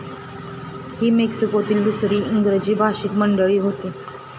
ही मेक्सिकोतील दुसरी इंग्रजी भाषिक मंडळी होती.